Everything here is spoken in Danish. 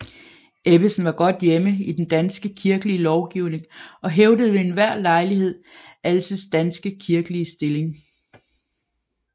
Ebbesen var godt hjemme i den danske kirkelige lovgivning og hævdede ved enhver lejlighed Alses danske kirkelige stilling